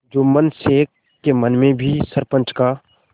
जुम्मन शेख के मन में भी सरपंच का